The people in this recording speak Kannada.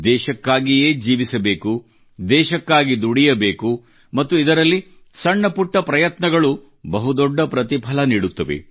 ದೇಶಕ್ಕಾಗಿಯೇ ಜೀವಿಸಬೇಕು ದೇಶಕ್ಕಾಗಿ ದುಡಿಯಬೇಕು ಮತ್ತು ಇದರಲ್ಲಿ ಸಣ್ಣ ಪುಟ್ಟ ಪ್ರಯತ್ನಗಳು ಬಹುದೊಡ್ಡ ಪ್ರತಿಫಲ ನೀಡುತ್ತವೆ